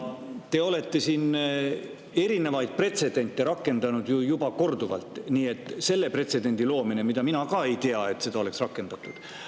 Te olete siin erinevaid pretsedente rakendanud juba korduvalt ja luua ka see pretsedent, mille kohta mina ka ei tea, et seda oleks rakendatud.